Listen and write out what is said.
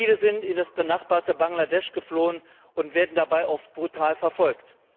Viele sind in das benachbarte Bangladesch geflohen und werden dabei oft brutal verfolgt.